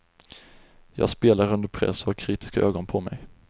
Jag spelar under press och har kritiska ögon på mig.